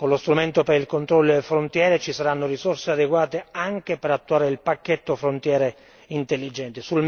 Con lo strumento per il controllo alle frontiere ci saranno risorse adeguate anche per attuare il pacchetto Frontiere intelligenti.